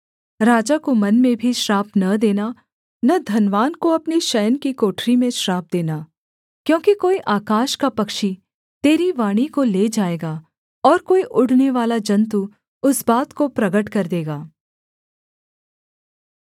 राजा को मन में भी श्राप न देना न धनवान को अपने शयन की कोठरी में श्राप देना क्योंकि कोई आकाश का पक्षी तेरी वाणी को ले जाएगा और कोई उड़नेवाला जन्तु उस बात को प्रगट कर देगा